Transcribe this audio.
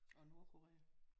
Og Nordkorea